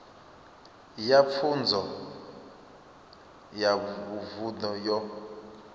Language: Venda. ya pfunzo ya vunḓu yo